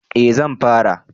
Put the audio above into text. Eh zan fara